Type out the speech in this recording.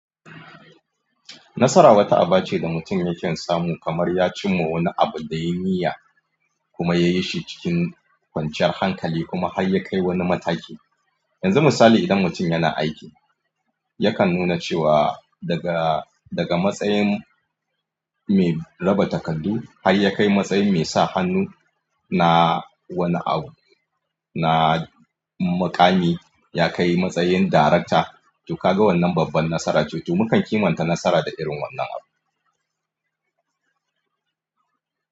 Nasara wata aba ce da mutum yake samu kamar ya cimma wani abu da yayi niyya kuma ya yi shi cikin kwanciyar hankali kuma har ya kai wani mataki. Yanzu misali idan mutum yana aiki yakan nuna cewa daga, daga matsayin mai raba takardu har ya kai matsayin mai sa hannu na wani abu, na mukami, ya kai matsayin darakta. To ka ga wannan babban nasara ce. To mukan kimanta nasara da irin wannan abu.